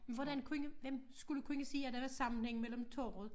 Hvordan kunne hvem skulle kunne se at der var sammenhæng mellem torvet